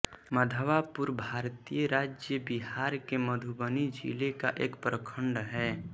मधवापुर भारतीय राज्य बिहार के मधुबनी जिले का एक प्रखण्ड है